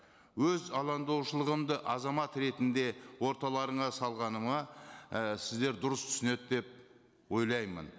өз алаңдаушылығымды азамат ретінде орталарыңа салғаныма і сіздер дұрыс түсінеді деп ойлаймын